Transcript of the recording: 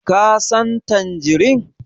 Ka San tangerine?